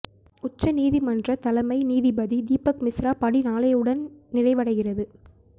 உச்ச நீதிமன்ற தலைமை நீதிபதி தீபக் மிஸ்ரா பணி நாளையுடன் நிறைவடைகிறது